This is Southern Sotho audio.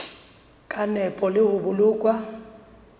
ka nepo le ho boloka